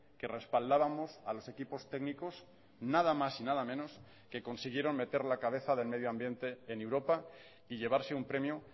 que respaldábamos a los equipos técnicos nada más y nada menos que consiguieron meter la cabeza del medio ambiente en europa y llevarse un premio